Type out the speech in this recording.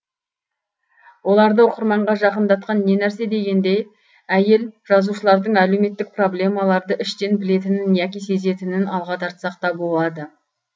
оларды оқырманға жақындатқан не нәрсе дегенде әйел жазушылардың әлеуметтік проблемаларды іштен білетінін яки сезінетінін алға тартсақ та болады